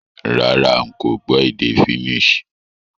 Rárá, n ko gbó édé Finnish